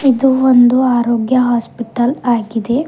ಇದು ಒಂದು ಆರೋಗ್ಯ ಹಾಸ್ಪಿಟಲ್ ಆಗಿದೆ.